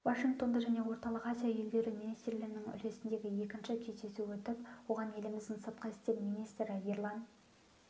вашингтонда пен орталық азия елдері министрлерінің үлгісіндегі екінші кездесуі өтіп оған еліміздің сыртқы істер министрі ерлан